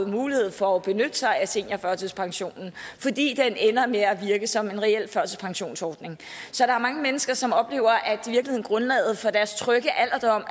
mulighed for at benytte sig af seniorførtidspensionen fordi den ender med at virke som en reel førtidspensionsordning så der er mange mennesker som oplever at grundlaget for deres trygge alderdom